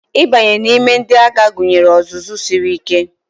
Ịbanye n'ime ndị agha gụnyere ọzụzụ siri ike